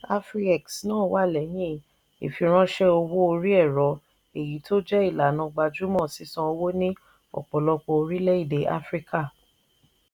afriex náà wà lẹ́yìn ìfiránṣẹ́ owó orí ẹ̀rọ èyí tó jẹ́ ìlànà gbajúmọ̀ sísan owó ní ọ̀pọ̀lọpọ̀ orílẹ̀-èdè áfíríkà.